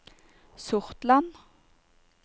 Sortland